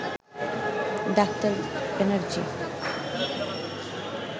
doctor Banerjee